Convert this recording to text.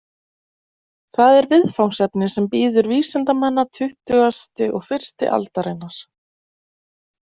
Það er viðfangsefni sem bíður vísindamanna tuttugasti og fyrsti aldarinnar.